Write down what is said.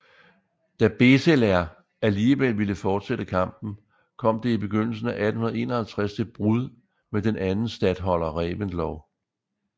Da Beseler alligevel ville fortsætte kampen kom det i begyndelsen af 1851 til brud med den anden statholder Reventlow